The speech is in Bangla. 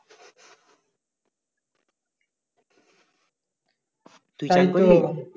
তুই